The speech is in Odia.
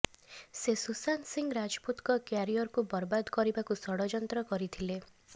ସେ ସୁଶାନ୍ତ ସିଂହ ରାଜପୁତଙ୍କ କ୍ୟାରିୟରକୁ ବରବାଦ କରିବାକୁ ଷଡ଼ଯନ୍ତ୍ର କରିଥିଲେ